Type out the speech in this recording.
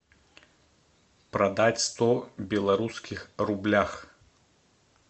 продать сто белорусских рублях